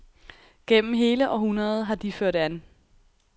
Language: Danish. Gennem hele århundredet har de ført an.